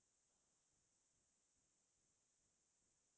chowmein এইচবৰ প্ৰতিও দুৰবলতা আছেই আৰু